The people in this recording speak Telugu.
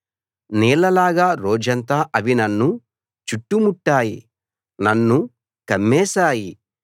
నీళ్లలాగా రోజంతా అవి నన్ను చుట్టుముట్టాయి నన్ను కమ్మేశాయి